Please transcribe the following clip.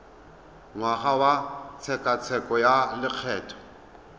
ngwaga wa tshekatsheko ya lokgetho